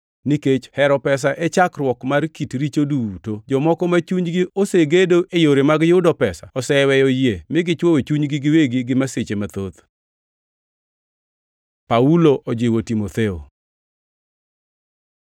Nikech hero pesa e chakruok mar kit richo duto. Jomoko ma chunygi osegedo e yore mag yudo pesa oseweyo yie mi gichwowo chunygi giwegi gi masiche mathoth. Paulo ojiwo Timotheo